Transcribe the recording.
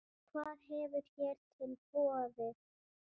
Hvað hefur hér til borið?